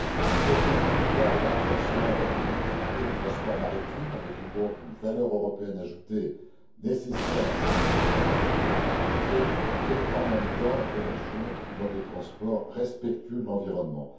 Il contribue, d'une part, au renforcement de la compétitivité du transport maritime, avec donc une valeur européenne ajoutée, nécessaire en ces temps de crise, et fait, en même temps, la promotion d'un mode de transport respectueux de l'environnement.